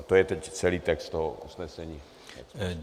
A to je teď celý text toho usnesení.